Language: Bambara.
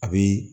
A bi